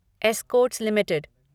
Escorts limited